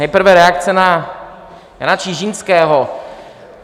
Nejprve reakce na Jana Čižinského.